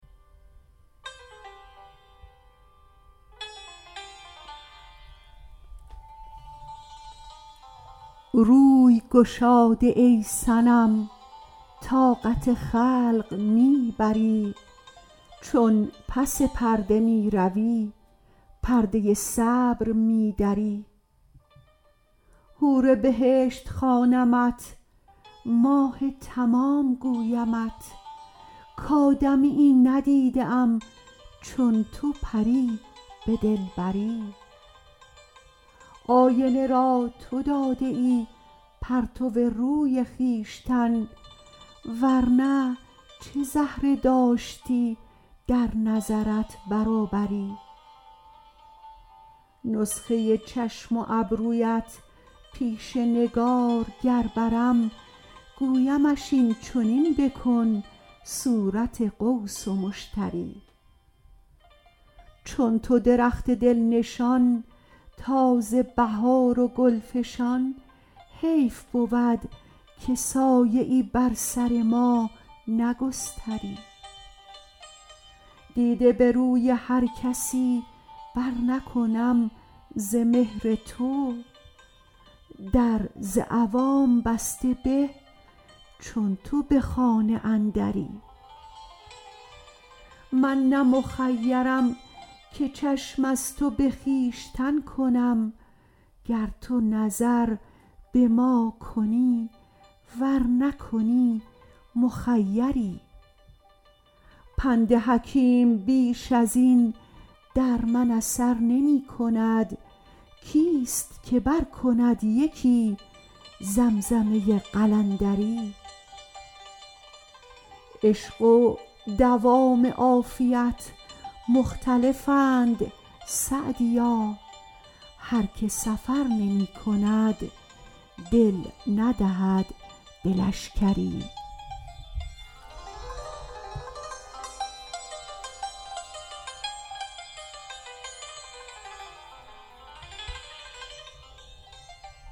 روی گشاده ای صنم طاقت خلق می بری چون پس پرده می روی پرده صبر می دری حور بهشت خوانمت ماه تمام گویمت کآدمیی ندیده ام چون تو پری به دلبری آینه را تو داده ای پرتو روی خویشتن ور نه چه زهره داشتی در نظرت برابری نسخه چشم و ابرویت پیش نگارگر برم گویمش این چنین بکن صورت قوس و مشتری چون تو درخت دل نشان تازه بهار و گل فشان حیف بود که سایه ای بر سر ما نگستری دیده به روی هر کسی برنکنم ز مهر تو در ز عوام بسته به چون تو به خانه اندری من نه مخیرم که چشم از تو به خویشتن کنم گر تو نظر به ما کنی ور نکنی مخیری پند حکیم بیش از این در من اثر نمی کند کیست که برکند یکی زمزمه قلندری عشق و دوام عافیت مختلفند سعدیا هر که سفر نمی کند دل ندهد به لشکری